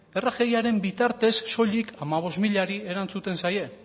rgiaren bitartez rgiaren bitartez solik hamabost milari erantzuten zaie